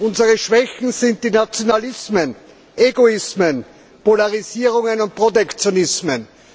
Unsere Schwächen sind die Nationalismen, Egoismen, Polarisierungen und Protektionismen.